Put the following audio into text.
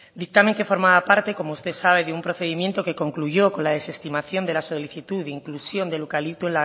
dictamen que formaba parte como usted sabe de un procedimiento que concluyó con la desestimación de la solicitud de inclusión del eucalipto